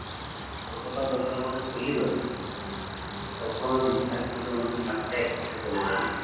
কতটা দরকার মানে fully দরকার, সব সময় busy থাকলে তো আমাদের mind টা চলে জায়ে